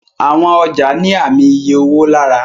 Àwọn ọjà ní Ààmì iye owó lára.